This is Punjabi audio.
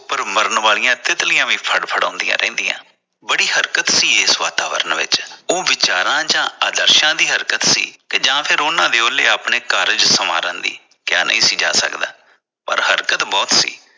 ਉਪਰ ਮਰਨ ਵਾਲੀਆਂ ਤਿੱਤਲੀਆਂ ਵੀ ਫੜਫੜਾਉਦੀਆਂ ਰਹਿੰਦੀਆਂ ਬੜੀ ਹਰਕਤ ਸੀ। ਇਸ ਵਾਤਾਵਰਨ ਵਿਚ ਉਹ ਵਿਚਾਰਾਂ ਜਾਂ ਆਦਰਸ਼ਾਂ ਹਰਕਤ ਸੀ ਜਾਂ ਉਨ੍ਹਾਂ ਦੇ ਉਹਲੇ ਆਪਣੇ ਕਾਰਜ ਸਵਾਰਨ ਦੀ ਕਿਹਾ ਨਹੀਂ ਸੀ ਜਾ ਸਕਦਾ ਪਰ ਹਰਕਤ ਬਹੁਤ ਸੀ।